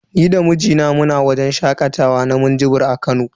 Ni da mijina muna wajen shakatawa na minjibir a Kano.